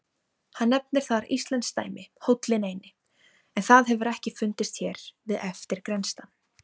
Hann nefnir þar íslenskt dæmi, Hóllinn eini, en það hefur ekki fundist hér við eftirgrennslan.